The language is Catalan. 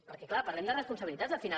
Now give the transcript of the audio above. perquè clar parlem de responsabilitats al final